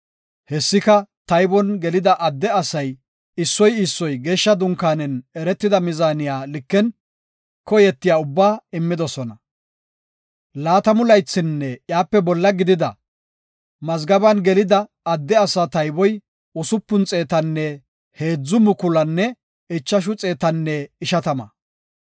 Hessika, taybon gelida adde asay, issoy issoy geeshsha dunkaanen eretida mizaaniya liken koyetiya ubbaa immidosona. Laatamu laythinne iyape bolla gidida, mazgaben gelida, adde asaa tayboy usupun xeetanne heedzu mukulunne ichashu xeetanne ishatama.